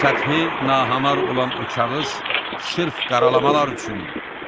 Səthi nahamar olan o kağız sırf qaralamalar üçündür.